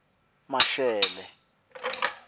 mashele